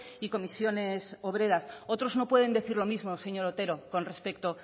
y comisiones obreras otros no pueden decir lo mismo señor otero con respecto